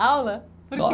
Aula? por que